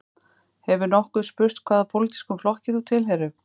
Hefur nokkur spurt hvaða pólitískum flokki þú tilheyrir